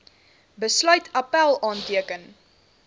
besluit appèl aanteken